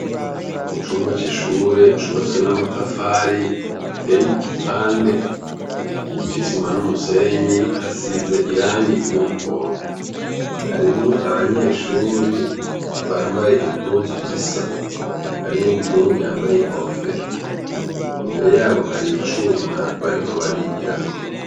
Mucumba cishure cubatswe namatafari ateye igipande cisima numusenyi hasize irangi ryumuhondo harimwo abanyeshure bambaye impuzu zisa harimwo umuhungu yambaye inkofero imbere yaho haricuma bariko barigirako